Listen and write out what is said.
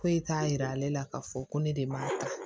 Foyi t'a yira ale la k'a fɔ ko ne de b'a ta